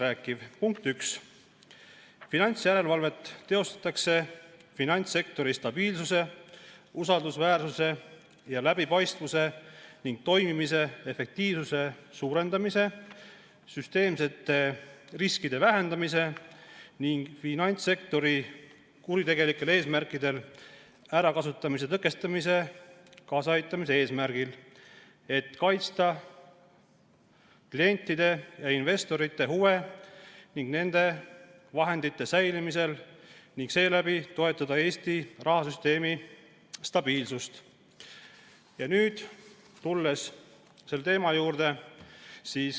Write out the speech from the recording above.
Lõige 1: "Finantsjärelevalvet teostatakse finantssektori stabiilsuse, usaldusväärsuse ja läbipaistvuse ning toimimise efektiivsuse suurendamise, süsteemsete riskide vähendamise ning finantssektori kuritegelikel eesmärkidel ärakasutamise tõkestamisele kaasaaitamise eesmärgil, et kaitsta klientide ja investorite huve nende vahendite säilimisel ning seeläbi toetada Eesti rahasüsteemi stabiilsust.